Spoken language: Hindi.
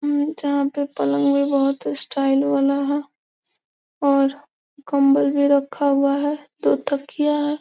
जहाँ पे पलंग भी बहुत स्टाइल वाला है और कंबल भी रखा हुआ है दो तकिया है।